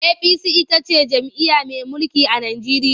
APC ita ce jam'iyya mai mulki a Najeriya.